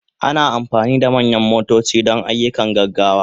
Ana amfani da manyan motoci don ayyukan gaggawa.